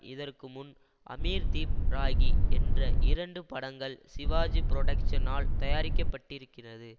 இதற்குமுன் அமிர்தீப் ராகி என்ற இரண்டு படங்கள் சிவாஜி புரொடக்ஷ்னால் தயாரிக்கப்பட்டிருக்கிறது